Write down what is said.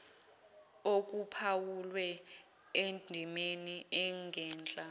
okuphawulwe endimeni engenhla